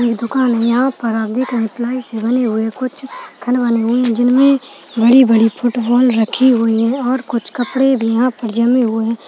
ये दुकान है यहाँ पर आप देख रहे हैं प्लाई से बने हुए कुछ खंडवा वाले जमीन जिनमे बड़ी-बड़ी फुटबॉल रखे हुए है और कुछ कपड़े भी यहाँ पर जमे हुए--